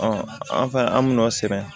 an fɛ yan an min n'o sɛbɛn